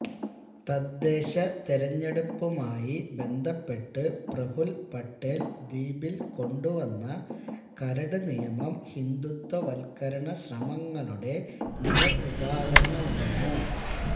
തദ്ദേശ തെരഞ്ഞെടുപ്പുമായി ബന്ധപ്പെട്ട് പ്രഫുൽ പട്ടേൽ ദ്വീപിൽ കൊണ്ടുവന്ന കരട് നിയമം ഹിന്ദുത്വവൽകരണ ശ്രമങ്ങളുടെ നേർ ഉദാഹരണമാണ്